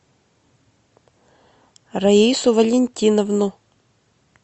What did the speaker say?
раису валентиновну